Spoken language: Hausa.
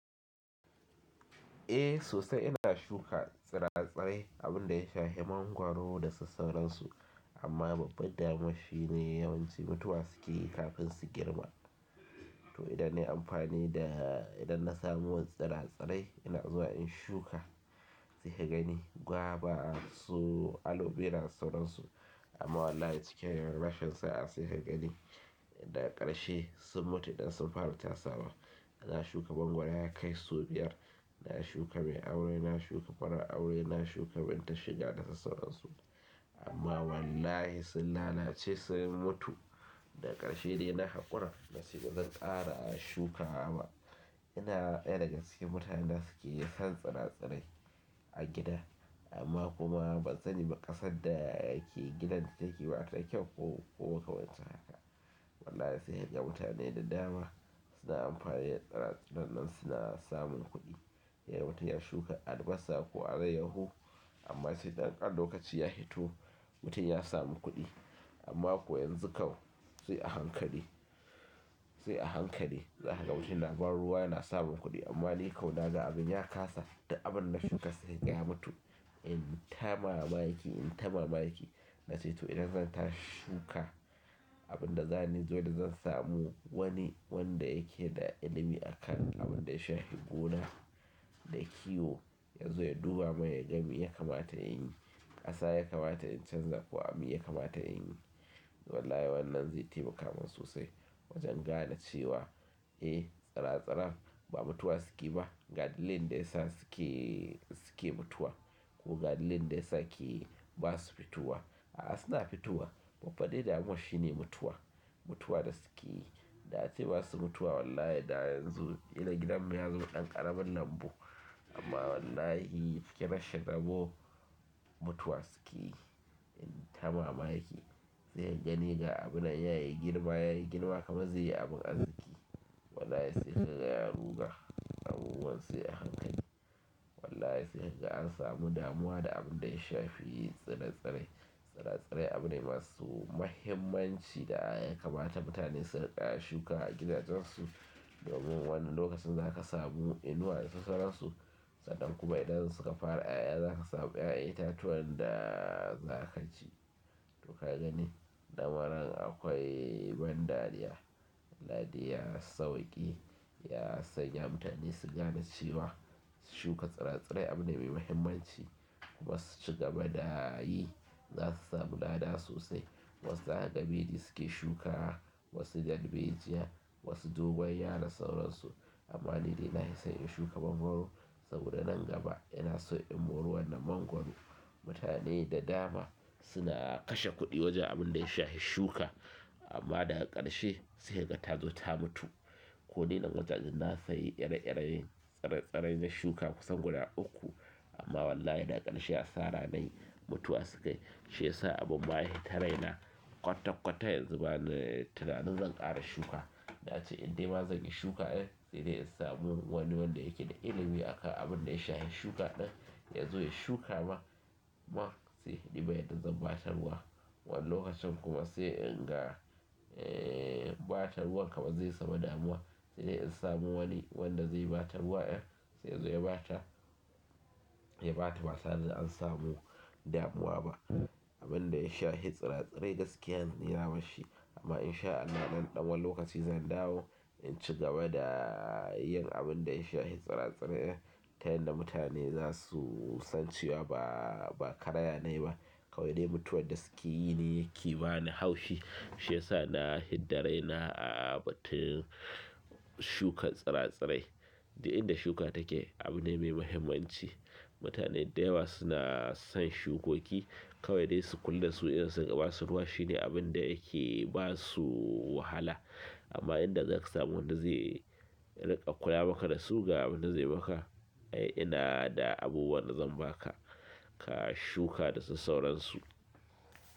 Eh sosai ina shuka tsire-tsire abin da ya shafi mangwaro da sassauransu amma babba damuwar shine yawanci mutuwa suke yi kafin su girma. To idan na yi amfani da, idan na samu wasu tsire-tsire ina zuwa in shuka sai ka gani gwaba su alo vera da sassauransu amma wallahi cikin rashin sa'a sai ka gani daga ƙarshe sun mutu idan sun fara tasawa. Na shuka mangwaro ya kai sau biyar, na shuka mai aure, na shuka marar aure, na shuka binta shida da sassauransu amma wallahi sun lalace sun mutu da ƙarshe dai na haƙura na ce ba zan ƙara a shukawa ba, amma ina ɗaya daga cikin mutanen da suke son tsire-tsire a gida amma kuma ban sani ba ƙasar dake gidan take ba ta da kyau ko makamancin haka. Wallahi sai kaga mutane da dama suna amfani da tsire-tsire nan suna samun kuɗi. Yayi wata ƴar shuka albasa ko alayyahu amma sai ɗan ƙan lokaci ya hito mutum ya samu kuɗi amma kuwa yanzu kawai sai a hankali, sai a hankali za ka ga mutum yana ban ruwa yana samun kuɗi amma dai kawai naga abin ya kasa duk abin na shuka sai in ga ya mutu. In tamaraba yake, in ta mamaki na ce to idan zan tashi shuka abin da zani zo da zan samu wani wanda yake da ilimi a kan abin da ya shafi gona da kiwo ya zo ya duba min ya ga me ya kamata in yi, ƙasa ya kamata in canza ko abun ya kamata in yi. Wallahi wannan zai taimaka min sosai wajen gane cewa eh tsire-tsiren ba mutuwa suke ba ga dalilin da yasa suke, suke mutuwa ko ga dalilin da yasa ke. Ba su fitowa. A'a suna fitowa babbar dai damuwar shine mutuwa, mutuwa da suke yi. Da ace ba su mutuwa wallahi da yanzu ƙila gidan mu ya zama ɗan ƙaramin lambu amma wallahi fuke na shanabo mutuwa suke yi in ta mamaki. Sai ka gani ga abu nan ya yi girma, ya yi girma kamar zai yi abun arziki. Wallahi sai ka ga ya ruga abubuwan sai a hankali. Wallahi sai ka ga an samu damuwa da abun da ya shafi tsire-tsire. Tsire-tsire abu ne masu muhimmanci da ya kamata mutane su riƙa shukawa a gidajensu domin wani lokacin za ka samu inuwa da sauransu. Sannan kuma idan suka fara ƴaƴa za ka samu ƴaƴan itatuwan da za ka ci. To ka gani lamarin akwai ban dariya, Allah dai ya sawwake ya sanya mutane su gane cewa shuka tsire-tsire abune masu muhimmanci kuma su ci gaba da yi. Za su samu lada sosai. Wasu har kabeji suke shukawa, wasu darbejiya, wasu dogon yaro da sauransu amma ni dai nahi son in shuka mangoro saboda nan gaba ina so in mori wannan mangoro. Mutane da dama suna kashe kuɗi wajen abun da ya shafi shuka amma daga ƙarshe sai ka ga ta zo ta mutu. Ko ni nan wajajen na sayi ire-irie tsire-tsire na shuka kusan guda uku amma wallahi dags ƙarshe ya asara na yi mutuwa suke yi. Shiyasa abun ma ya hita raina kwata-kwata yanzu bana, tunanin zan ƙara shuka. Ace in nima zan iya shuka ɗin, sai dai in samu wani wanda yake da ilimi a kan abin da ya shafi shuka ɗin ya zo ya shuka ma man sai duba yadda zan ba ta ruwa. Wannan lokacin kuma sai in ga, eh ba ta ruwan kamar zai samu damuwa. Sai in samu wani wanda zai ba ta ruwa ɗin, sai ya zo ya ba ta, ya ba ta batare da an samu damuwa ba. Abin da ya shafi tsire-tsire gaskiya ni na bar shi amma in sha Allah nan da ɗan wani lokaci zan dawo in ci gaba da yin abin da ya shafi tsire-tsire. Ta yanda mutane za su san cewa ba, ba karaya na yi ba. Kawai dai mutuwa da suke yi ne yake ba ni haushi. Shi ya sa na hidda raina a batun shukar tsire-tsire. Duk inda shuka take abu ne mai muhimmanci. Mutane da yawa suna son shukoki kawai dai su kulle su idan sun gama su ruwa shine abin da yake ba su wahala. Amma in da za ka samu wanda zai riƙa kula maka da su ga abin da zai maka, ai ina da abubuwan zan ba ka, ka shuka da sassauransu.